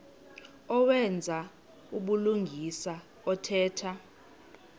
owenza ubulungisa othetha